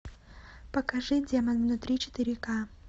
покажи демон внутри четыре ка